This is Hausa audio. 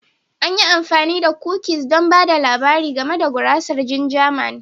An yi amfani da kukis don ba da labari game da gurasar ginger Man